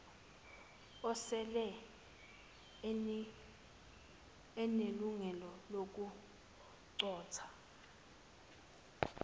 osele enelungelo lokuqoka